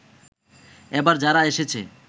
এবার যারা এসেছে